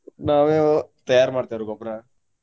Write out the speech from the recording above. ನಾವೇ ತಯಾರ್ ಮಾಡ್ತೇವ್ರಿ ಗೊಬ್ರಾ.